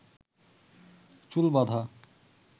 চুল বাধা